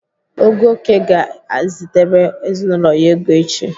Ogoke ga-ezitere ezinaụlọ ya ego echi.